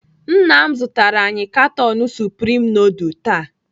Nna m zụtara anyị katon supreme nudul taa.